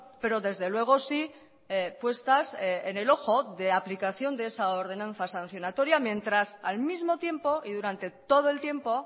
pero desde luego si puestas en el ojo de aplicación de esa ordenanza sancionatoria mientras al mismo tiempo y durante todo el tiempo